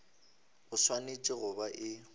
e swanetše go ba e